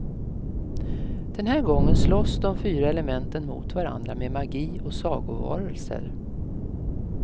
Den här gången slåss de fyra elementen mot varandra med magi och sagovarelser.